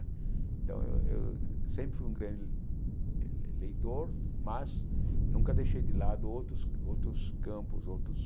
Então, eu eu sempre fui um grande le leitor, mas nunca deixei de lado outros outros campos, outros...